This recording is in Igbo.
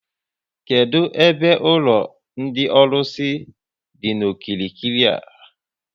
Kedụ ebe ụlọ ndị ọlụsị dị n'okirikiri a?